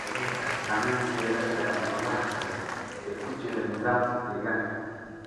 Xooluhu waxay saamayn ku yeelan karaan noolaha kale ee ku jira nidaamka deegaanka.